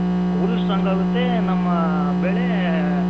ಹುಲ್ Strong ಆಗುತ್ತೆ ನಮ್ಮ ಬೆಳೆ